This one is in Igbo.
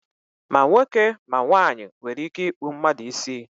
ma nwoke ma ọ bụ nwanyị nwere ike ịkpụ mmadu isi